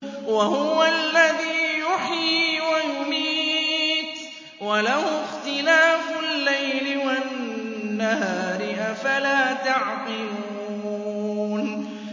وَهُوَ الَّذِي يُحْيِي وَيُمِيتُ وَلَهُ اخْتِلَافُ اللَّيْلِ وَالنَّهَارِ ۚ أَفَلَا تَعْقِلُونَ